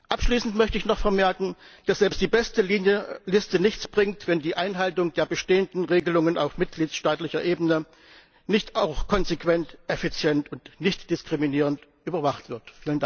Abschließend möchte ich noch vermerken, dass selbst die beste Liste nichts bringt, wenn die Einhaltung der bestehenden Regelungen auf mitgliedstaatlicher Ebene nicht auch konsequent, effizient und nichtdiskriminierend überwacht wird.